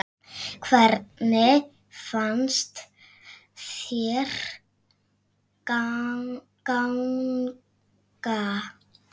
Hvernig fannst þér ganga?